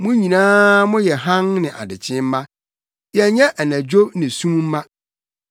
Mo nyinaa moyɛ hann ne adekyee mma. Yɛnyɛ anadwo ne sum mma.